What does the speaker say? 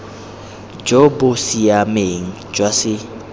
jo bo siameng jwa se